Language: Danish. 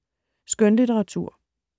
Skønlitteratur